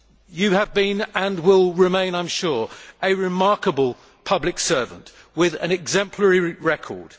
You have been and will remain, I am sure, a remarkable public servant with an exemplary record.